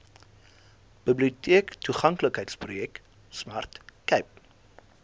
biblioteektoeganklikheidsprojek smart cape